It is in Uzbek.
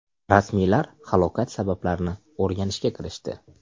Rasmiylar halokat sabablarini o‘rganishga kirishdi.